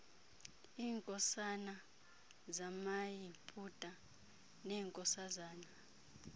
iinkosana zamayiputa neenkosazana